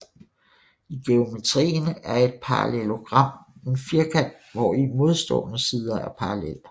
I geometrien er et parallelogram en firkant hvori modstående sider er parallelle